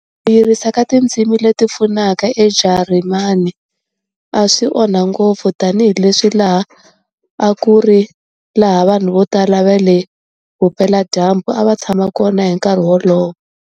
Ku yirisiwa ka tindzimi leti pfunaka eJarimani a swi onha ngopfu tanihi leswi laha a ku ri laha vanhu vo tala va le Vupela-dyambu a va tshama kona hi nkarhi wolowo.